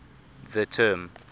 the term